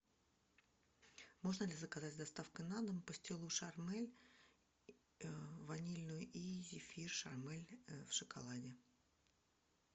можно ли заказать с доставкой на дом пастилу шармель ванильную и зефир шармель в шоколаде